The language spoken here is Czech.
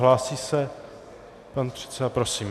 Hlásí se pan předseda, prosím.